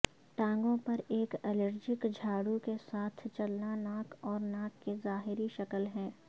ٹانگوں پر ایک الرجک جھاڑو کے ساتھ چلنا ناک اور ناک کی ظاہری شکل ہے